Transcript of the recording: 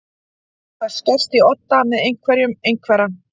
Það skerst í odda með einhverjum einhverra